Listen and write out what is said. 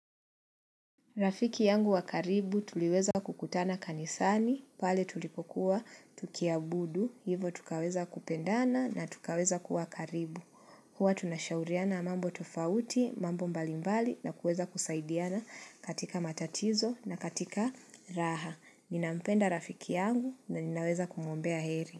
Rafiki yangu wa karibu, tuliweza kukutana kanisani, pale tulikokuwa, tukiabudu, hivyo tukaweza kupendana na tukaweza kuwa karibu. Huwa tunashauriana mambo tofauti, mambo mbalimbali na kuweza kusaidiana katika matatizo na katika raha. Ninampenda rafiki yangu na ninaweza kumwombea heri.